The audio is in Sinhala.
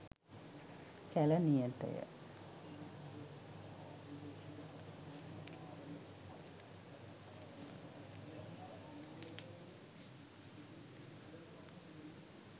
කැලණියට ය.